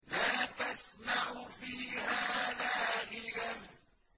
لَّا تَسْمَعُ فِيهَا لَاغِيَةً